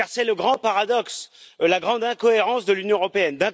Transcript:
Car c'est le grand paradoxe, la grande incohérence de l'Union européenne.